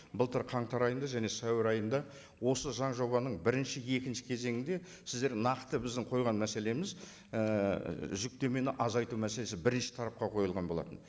былтыр қаңтар айында және сәуір айында осы заң жобаның бірінші екінші кезеңінде сіздер нақты біздің қойған мәселеміз ііі жүктемені азайту мәселесі бірінші тарапқа қойылған болатын